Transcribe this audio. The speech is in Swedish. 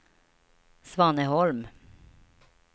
Svaneholm